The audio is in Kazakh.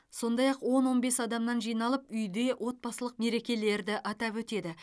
сондай ақ он он бес адамнан жиналып үйде отбасылық мерекелерді атап өтеді